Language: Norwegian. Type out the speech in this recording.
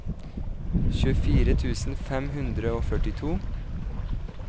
tjuefire tusen fem hundre og førtito